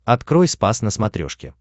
открой спас на смотрешке